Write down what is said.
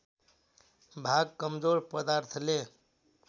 भाग कमजोर पदार्थले